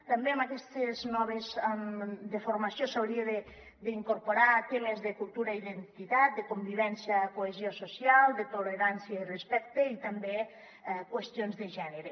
també en aquesta nova formació s’haurien d’incorporar temes de cultura i identitat de convivència i cohesió social de tolerància i respecte i també qüestions de gènere